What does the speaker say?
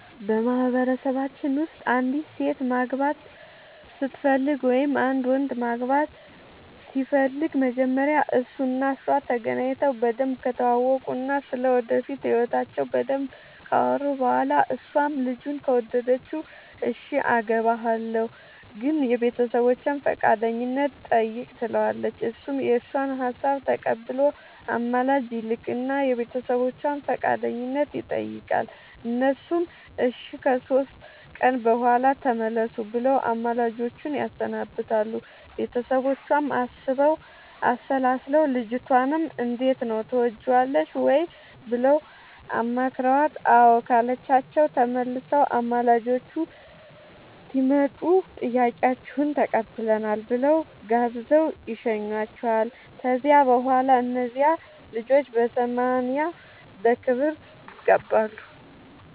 በማህበረሰባችን ውስጥ አንዲት ሴት ማግባት ስትፈልግ ወይም አንድ ወንድ ማግባት ሲፈልግ መጀመሪያ እሱ እና እሷ ተገናኝተው በደንብ ከተዋወቁ እና ስለ ወደፊት ህይወታቸው በደንብ ካወሩ በኋላ እሷም ልጁን ከወደደችው እሽ አገባሀለሁ ግን የቤተሰቦቼን ፈቃደኝነት ጠይቅ ትለዋለች እሱም የእሷን ሀሳብ ተቀብሎ አማላጅ ይልክ እና የቤተሰቦቿን ፈቃደኝነት ይጠይቃል እነሱም እሺ ከሶስት ቀን በኋላ ተመለሱ ብለው አማላጆቹን ያሰናብታሉ ቤተሰቦቿም አስበው አሠላስለው ልጅቷንም እንዴት ነው ትወጅዋለሽ ወይ ብለው አማክረዋት አዎ ካለቻቸው ተመልሰው አማላጆቹ ሲመጡ ጥያቄያችሁን ተቀብለናል ብለው ጋብዘው ይሸኙዋቸዋል ከዚያ በኋላ እነዚያ ልጆች በሰማንያ በክብር ይጋባሉ።